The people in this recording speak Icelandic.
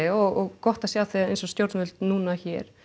og gott að sjá þegar eins og stjórnvöld núna hér